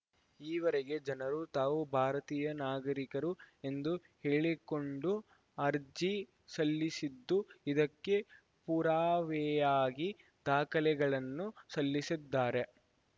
ಈವರೆಗೆ ಜನರು ತಾವು ಭಾರತೀಯ ನಾಗರಿಕರು ಎಂದು ಹೇಳಿಕೊಂಡು ಅರ್ಜಿ ಸಲ್ಲಿಸಿದ್ದು ಇದಕ್ಕೆ ಪುರಾವೆಯಾಗಿ ದಾಖಲೆಗಳನ್ನು ಸಲ್ಲಿಸಿದ್ದಾರೆ